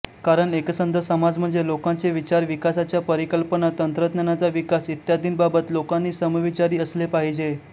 कारण एकसंध समाज म्हणजे लोकांचे विचार विकासाच्या परिकल्पना तंत्रज्ञानाचा विकास इत्यादींबाबत लोकांनी समविचारी असले पाहिजे